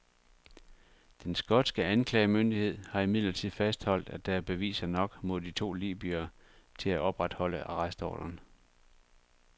Den skotske anklagemyndighed har imidlertid fastholdt, at der er beviser nok mod de to libyere til at opretholde arrestordren.